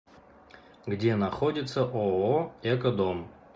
где находится ооо экодом